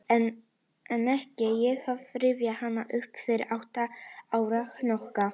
En ekki fer ég að rifja hana upp fyrir átta ára hnokka.